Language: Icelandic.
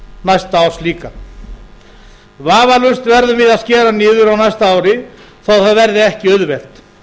næsta árs líka vafalaust verðum við að skera niður á næsta ári þó það verði ekki auðvelt